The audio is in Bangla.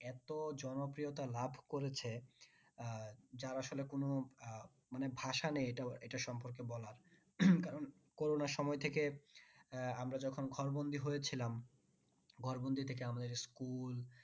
এতো জনপ্রিয়তা লাভ করেছে আহ যার আসলে কোনো আহ মানে ভাষা নেই এটা, এটার সম্পর্কে বলার কারণ করোনার সময় থেকে আহ আমরা যখন ঘর বন্দি হয়ে ছিলাম। ঘর বন্দি থেকে আমাদের school